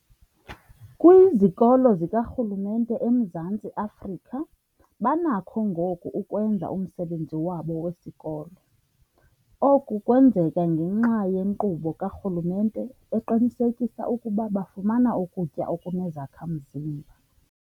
Kwizikolo zikarhulumente eMzantsi Afrika banakho ngoku ukwenza umsebenzi wabo wesikolo. Oku kwenzeka ngenxa yenkqubo karhulumente eqinisekisa ukuba bafumana ukutya okunezakha-mzimba.